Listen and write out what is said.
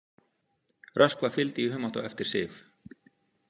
Röskva fylgdi í humátt á eftir Sif.